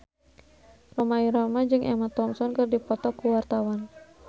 Rhoma Irama jeung Emma Thompson keur dipoto ku wartawan